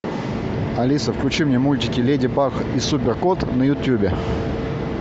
алиса включи мне мультики леди баг и супер кот на ютюбе